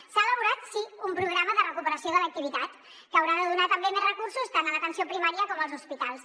s’ha elaborat sí un programa de recuperació de l’activitat que haurà de donar també més recursos tant a l’atenció primària com als hospitals